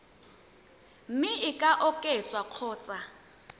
mme e ka oketswa kgotsa